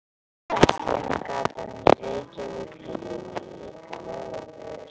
Verslunargatan í Reykjavík heitir líka Laugavegur.